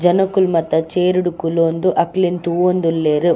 ಜನೊಕುಲು ಮಾತ ಚೇರ್ಡ್ ಕುಲೊಂದು ಅಕ್ಲೆನ್ ತೂವೊಂದುಲ್ಲೆರ್.